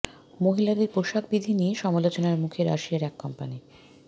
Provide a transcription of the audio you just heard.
মহিলাদের পোশাক বিধি নিয়ে সমালোচনার মুখে রাশিয়ার এক কোম্পানী